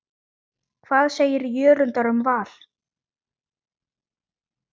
Hvað segir Jörundur um Val?